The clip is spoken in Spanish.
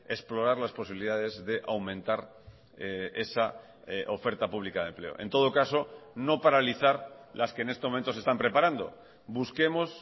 explorar las posibilidades de aumentar esa oferta pública de empleo en todo caso no paralizar las que en este momento se están preparando busquemos